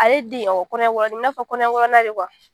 A ye de kɔnɔ ɲɛ wɔɔrɔ i n'a fɔ kɔnɔ ɲɛ wɔɔrɔ de